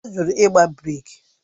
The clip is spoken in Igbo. Ọ jụrụ igba breeki